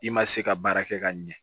I ma se ka baara kɛ ka ɲɛ